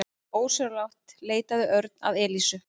Ósjálfrátt leitaði Örn að Elísu.